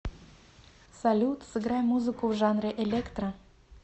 салют сыграй музыку в жанре электро